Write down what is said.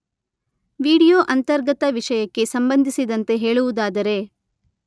video ಅಂತರ್ಗತ ವಿಷಯಕ್ಕೆ ಸಂಬಂಧಿಸಿದಂತೆ ಹೇಳುವುದಾದರೆ